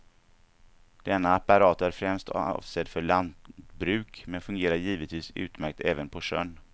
Denna apparat är främst avsedd för landbruk, men fungerar givetvis utmärkt även på sjön.